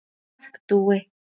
Takk Dúi.